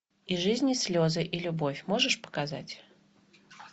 и жизнь и слезы и любовь можешь показать